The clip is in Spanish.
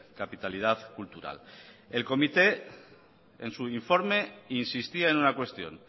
capitalidad cultural el comité en su informe insistía en una cuestión